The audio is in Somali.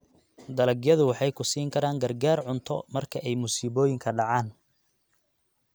Dalagyadu waxay ku siin karaan gargaar cunto marka ay musiibooyinka dhacaan.